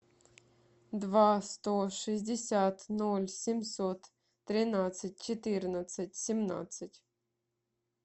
два сто шестьдесят ноль семьсот тринадцать четырнадцать семнадцать